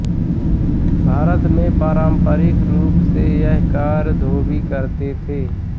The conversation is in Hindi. भारत में पारम्परिक रूप से यह कार्य धोबी करते थे